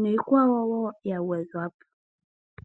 niikwawo woo yagwedhwapo.